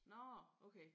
Nårh okay